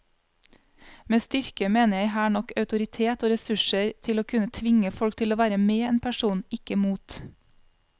Med styrke mener jeg her nok autoritet og ressurser til å kunne tvinge folk til å være med en person, ikke mot.